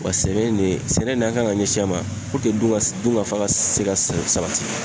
Wa sɛnɛ in ne sɛnɛ nin an kan ka ɲɛsin a ma dun ka dunkafa ka se ka sabati.